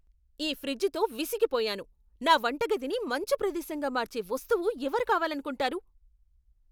ఈ ఫ్రిజ్తో విసిగిపోయాను. నా వంటగదిని మంచు ప్రదేశంగా మార్చే వస్తువు ఎవరు కావాలనుకుంటారు?